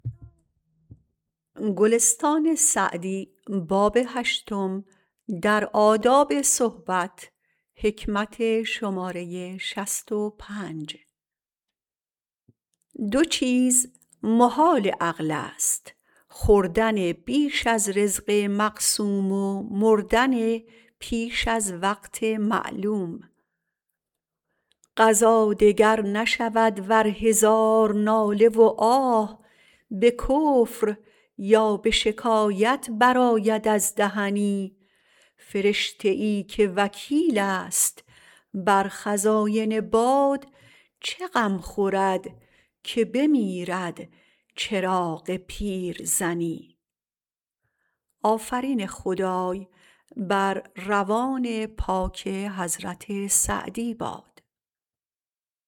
دو چیز محال عقل است خوردن بیش از رزق مقسوم و مردن پیش از وقت معلوم قضا دگر نشود ور هزار ناله و آه به کفر یا به شکایت برآید از دهنی فرشته ای که وکیل است بر خزاین باد چه غم خورد که بمیرد چراغ پیرزنی